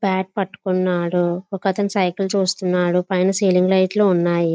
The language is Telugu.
పాడ్ పటుక్కునదు ఒక అతను సైకిలు చూస్తున్నాడు పైన సీలింగ్ లైట్ లు ఉన్నాయి.